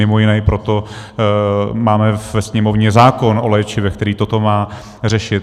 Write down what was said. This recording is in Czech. Mimo jiné i proto máme ve Sněmovně zákon o léčivech, který toto má řešit.